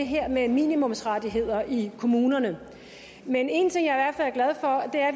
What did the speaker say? her med minimumsrettigheder i kommunerne men en ting er og det er at